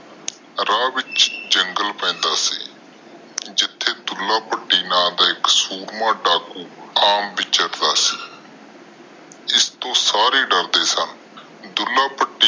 ਰਾਹ ਵਿਚ ਜੰਗਲੇ ਪੈਂਦਾ ਸੀ ਜਿਥੇ ਢੁਲਾਲ ਭਾਤਿ ਨਾਮੁ ਦਾ ਇਕ ਸੂਰਮਾ ਡੱਕੂ ਆਮ ਬਿਚਰਦਾ ਸੀ ਜਿਸਤੋ ਸਾਰੇ ਡਰਦੇ ਸਨ